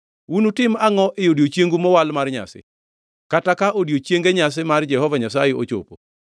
Unutim angʼo e odiechiengu mowal mar nyasi, kata ka odiechienge nyasi mar Jehova Nyasaye ochopo?